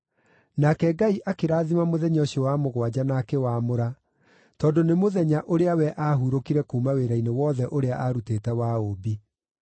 Nake Ngai akĩrathima mũthenya ũcio wa mũgwanja na akĩwamũra, tondũ nĩ mũthenya ũrĩa we aahurũkire kuuma wĩra-inĩ wothe ũrĩa aarutĩte wa ũũmbi.